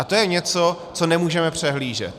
A to je něco, co nemůžeme přehlížet.